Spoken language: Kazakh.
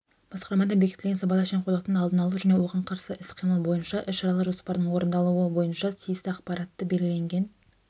басқармада бекітілген сыбайлас жемқорлықтың алдын алу және оған қарсы іс-қимыл бойынша іс-шаралар жоспарының орындалуы бойынша тиісті ақпаратты белгіленген